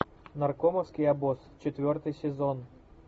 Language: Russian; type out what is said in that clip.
наркомовский обоз четвертый сезон